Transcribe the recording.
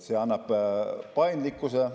See annab paindlikkuse.